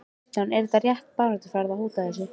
Kristján: Er þetta rétt baráttuaðferð, að hóta þessu?